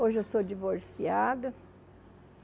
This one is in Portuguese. Hoje eu sou divorciada.